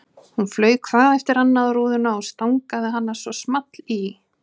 Hún flaug hvað eftir annað á rúðuna og stangaði hana svo small í.